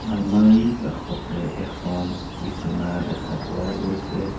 আলমাৰিৰ কাষতে এখন বিছনা দেখা পোৱা গৈছে।